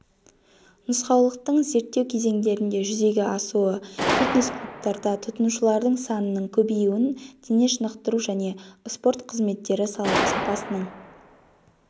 нұсқаулықтың зерттеу кезеңдерінде жүзеге асуы фитнесклубтарда тұтынушылардың санының көбеюін дене шынықтыру және спорт қызметтері сапасының